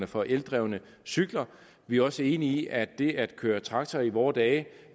for eldrevne cykler vi er også enige i at det at køre traktor i vore dage